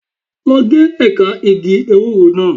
Lọ gé ẹ̀ka igi ewúro náà.